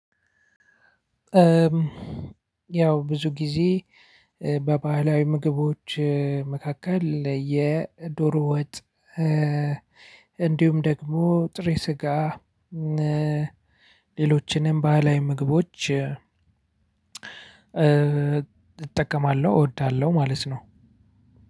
ያው ብዙ ጊዜ በባህላዊ ምግቦች መካከል የዶሮ ወጥ። እንዲሁም ደግሞ ጥሬ ስጋ። ሌሎችንም ባህላዊ ምግቦች እጠቀማለሁ እወዳለሁ ማለት ነው።